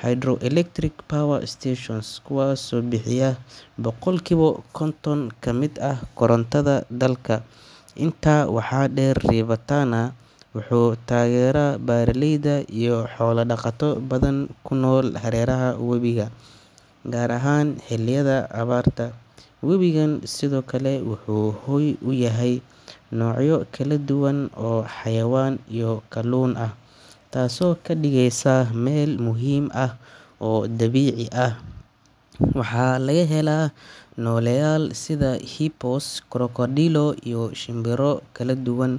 Hydro-electric power stations, kuwaasoo bixiya boqolkiiba konton ka mid ah korontada dalka. Intaa waxaa dheer, River Tana wuxuu taageeraa beeraleyda iyo xoolo dhaqato badan oo ku nool hareeraha webiga, gaar ahaan xilliyada abaarta. Webigan sidoo kale wuxuu hoy u yahay noocyo kala duwan oo xayawaan iyo kalluun ah, taasoo ka dhigaysa meel muhiim ah oo dabiici ah. Waxaa laga helaa nooleyaal sida hippos, krokodilo iyo shimbiro kala duwan.